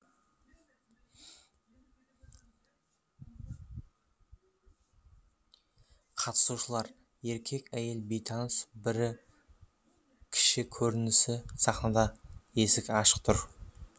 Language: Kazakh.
қатысушылар еркек әйел бейтаныс бірінші көрініс сахнада ашық есік тұр